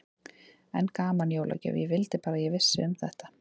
Enn gaman, jólagjöf, ég vildi bara að ég vissi um þetta.